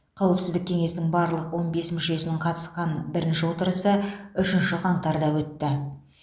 қауіпсіздік кеңесінің барлық он бес мүшесінің қатысқан бірінші отырысы үшінші қаңтарда өтті